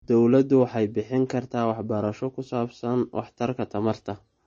Dawladdu waxay bixin kartaa waxbarasho ku saabsan waxtarka tamarta.